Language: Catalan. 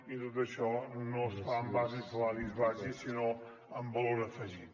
i tot això no es fa en base a salaris bàsics sinó amb valor afegit